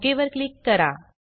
okay वर click करा